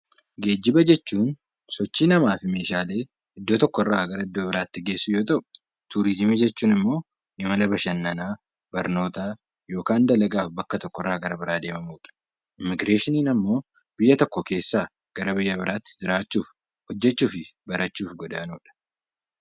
Geejjiba jechuun sochii namaa fi meeshaalee iddoo tokko irraa gara iddoo biraatti geessuu yoo ta'u; Turiizimii jechuun immoo imala bashannanaa, barnootaa yookaan dalagaaf bakka tokko irraa gara biraa deemamu dha. Immigireeshiniin ammoo biyya tokko keessaa gara biyya biraa tti jiraachuuf, hojjechuu fi barachuuf godaanuu dha.